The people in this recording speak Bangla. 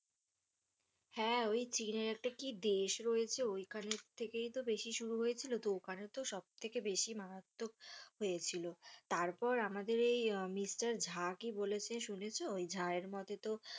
হ্যাঁ, চীনের একটা কী দেশ রয়েছে ওই খানে থেকেই তো বেশি শুরু হয়েছিল তো ওই খানে তো সব থেকে মারাত্মক হয়েছিল তারপর আমাদের এই মিস্টার ঝা কি বলেছে শুনেছো? ওই ঝা এর মতে তো ওই,